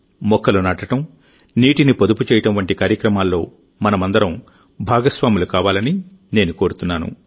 మొక్కలు నాటడం నీటిని పొదుపు చేయడం వంటి కార్యక్రమాల్లో మనమందరం భాగస్వాములు కావాలని నేను కోరుతున్నాను